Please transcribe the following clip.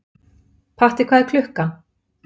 Patti, hvað er klukkan?